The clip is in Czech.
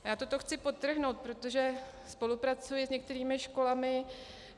Já toto chci podtrhnout, protože spolupracuji s některými školami.